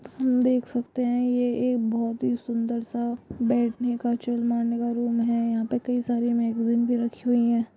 हम देख सकते हैं ये एक बहुत ही सुन्दर-सा बैठने का चिल मारने का रूम है| यहाँ पे कई सारी मैगजीन्स भी रखी हुईं है।